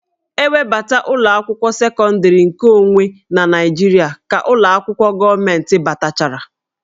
E webata ụlọ akwụkwọ sekọndịrị nke onwe na Naịjirịa ka ụlọ akwụkwọ gọọmentị batachara